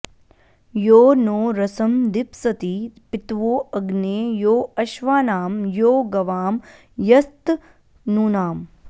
यो नो रसं दिप्सति पित्वो अग्ने यो अश्वानां यो गवां यस्तनूनाम्